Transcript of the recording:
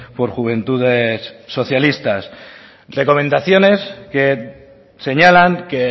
por juventudes socialistas recomendaciones que señalan que